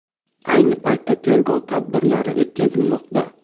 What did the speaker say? Ayni paytda tergov tadbirlari o‘tkazilmoqda.